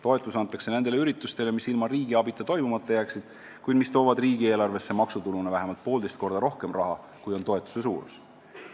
Toetus antakse nendele üritustele, mis ilma riigi abita toimumata jääksid, kuid mis toovad riigieelarvesse maksutuluna vähemalt poolteist korda rohkem raha, kui on toetuse suurus.